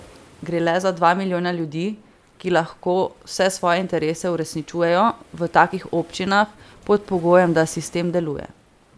Gre le za dva milijona ljudi, ki lahko vse svoje interese uresničujejo v takih občinah, pod pogojem, da sistem deluje.